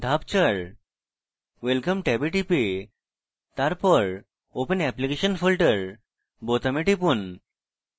ধাপ 4: welcome ট্যাবে টিপে তারপর open application folder বোতামে টিপুন